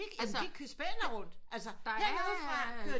Altså de spæner rundt altså her nede fra kører